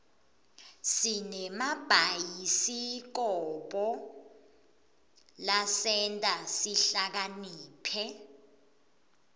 sinemabhayisikobho lasenta sihlakaniphe